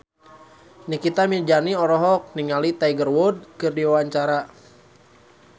Nikita Mirzani olohok ningali Tiger Wood keur diwawancara